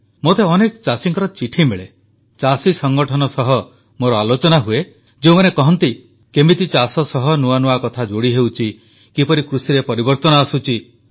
ମୋତେ ଅନେକ ଚାଷୀଙ୍କର ଚିଠି ମିଳେ ଚାଷୀ ସଂଗଠନ ସହ ମୋର ଆଲୋଚନା ହୁଏ ଯେଉଁମାନେ କହନ୍ତି କିପରି ଚାଷ ସହ ନୂଆନୂଆ କଥା ଯୋଡ଼ି ହେଉଛି କିପରି କୃଷିରେ ପରିବର୍ତ୍ତନ ଆସୁଛି